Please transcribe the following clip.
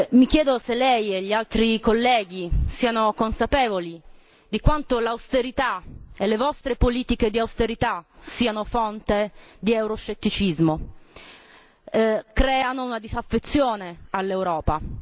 Mi chiedo se lei e gli altri colleghi siano consapevoli di quanto l'austerità e le vostre politiche di austerità siano fonte di euroscetticismo e di quanto creino una disaffezione all'Europa.